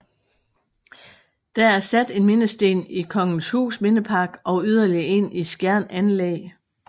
Der er sat en mindesten i Kongenshus Mindepark og yderligere en i Skjern Anlæg